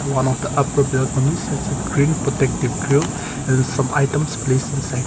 one of the appartments has grill protective grill there is some items place inside